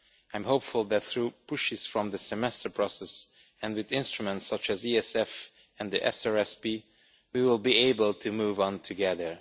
I am hopeful that through pushes from the Semester process, and with instruments such as the ESF and the SRSP, we will be able to move on together.